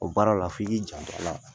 O baara la f'i k'i janto a la